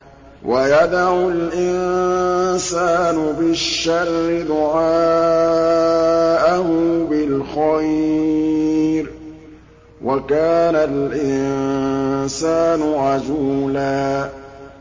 وَيَدْعُ الْإِنسَانُ بِالشَّرِّ دُعَاءَهُ بِالْخَيْرِ ۖ وَكَانَ الْإِنسَانُ عَجُولًا